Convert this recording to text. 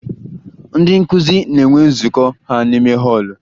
Ndị nkụzi na-enwe nzụkọ ha n'ime họọlụ